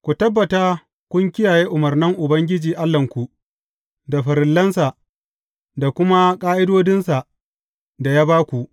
Ku tabbata kun kiyaye umarnan Ubangiji Allahnku, da farillansa da kuma ƙa’idodinsa da ya ba ku.